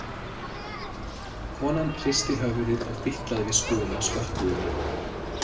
Konan hristi höfuðið og fitlaði við skúfinn á skotthúfunni.